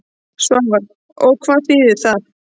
Svavar: Og hvað þýðir það?